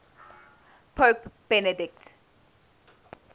pope benedict